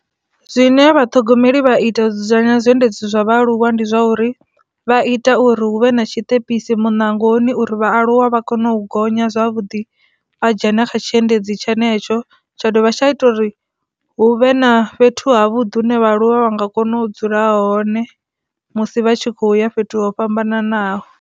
Zwine vhathogomeli vha ita u dzudzanya zwiendedzi zwa vhaaluwa ndi zwa uri vha ita uri huvhe na tshiṱepisi munangoni uri vhaaluwa vha kone u gonya zwavhuḓi vha dzhenisa na kha tshiendedzi tshenetsho, tsha dovha tsha ita uri hu vhe na fhethu ha vhuḓi hune vha luvha vha nga kona u dzula hone musi vha tshi kho ya fhethu ho fhambananaho.